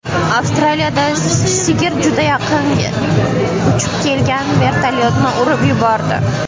Avstraliyada sigir juda yaqiniga uchib kelgan vertolyotni urib yubordi.